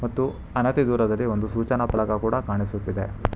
ಮತ್ತು ಹಣತಿ ದೂರದಲ್ಲಿ ಒಂದು ಸೂಚನಾ ಫಲಕ ಕೂಡ ಕಾಣಿಸುತ್ತಿದೆ.